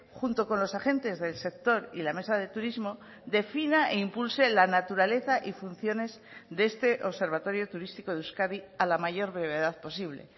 junto con los agentes del sector y la mesa de turismo defina e impulse la naturaleza y funciones de este observatorio turístico de euskadi a la mayor brevedad posible